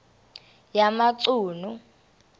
yamachunu